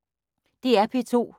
DR P2